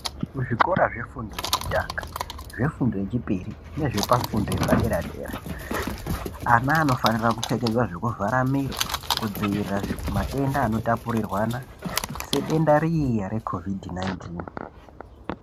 Muzvikora zvefundo yekutanga, zvefundo yechipiri nezvepafundo yepadera-dera, ana anofanira kupfekedzea zvekuvhara miro kudzivirira matenda anotapurirwana, sedenda riya re COVID 19.